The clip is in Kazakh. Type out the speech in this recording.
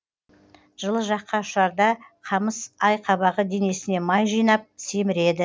жылы жаққа ұшарда қамыс айқабағы денесіне май жинап семіреді